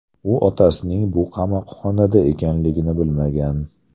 U otasining bu qamoqxonada ekanligini bilmagan.